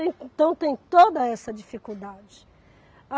Então tem toda essa dificuldade.